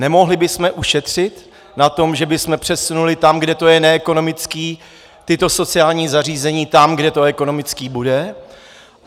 Nemohli bychom ušetřit na tom, že bychom přesunuli tam, kde to je neekonomické, tato sociální zařízení tam, kde to ekonomické bude?